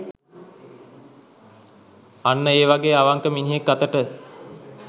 අන්න ඒ වගේ අවංක මිනිහෙක් අතට